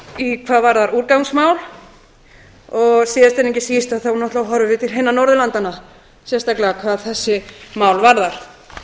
hvað varðar úrgangsmál og síðast enn ekki síst horfum við náttúrlega til hinna norðurlandanna sérstaklega hvað þessi mál varðar